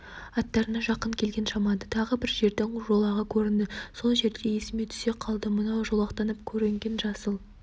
атарына жақын келген шамада тағы бір жердің жолағы көрінді сол жерде есіме түсе қалды мынау жолақтанып көрінген жасыл